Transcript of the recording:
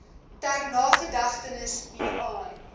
ter nagedagtenis hieraan